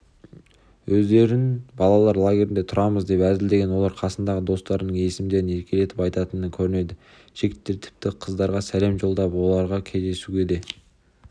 өздерін балалар лагерінде тұрамыз деп әзілдеген олар қасындағы достарының есімдерін еркелетіп атайтын көрінеді жігіттер тіпті қыздарға сәлем жолдап оларды кездесуге де